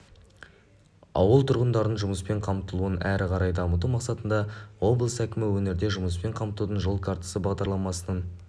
ауыл тұрғындарының жұмыспен қамтылуын әрі қарай дамыту мақсатында облыс әкімі өңірде жұмыспен қамтудың жол картасы бағдарламасының